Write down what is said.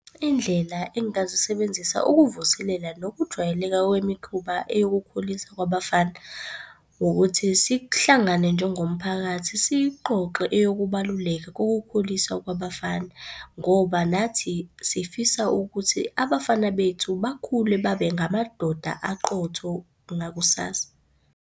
Indlela engingazisebenzisa ukuvuselela nokujwayeleka kwemikhuba eyokukhuliswa kwabafana, ukuthi sihlangane njengomphakathi, siyixoxe eyokubaluleka kokukhuliswa kwabafana ngoba nathi sifisa ukuthi abafana bethu bakhule babe ngamadoda aqotho ngakusasa.